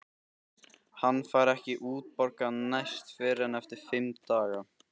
Hann fær ekki útborgað næst fyrr en eftir fimm daga.